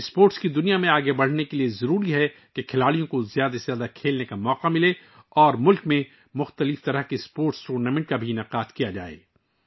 کھیلوں کی دنیا میں آگے بڑھنے کے لیے ضروری ہے کہ کھلاڑیوں کو کھیلنے کے زیادہ سے زیادہ مواقع ملیں اور ملک میں اچھی طرح سے منظم کھیلوں کے ٹورنامنٹ منعقد کیے جائیں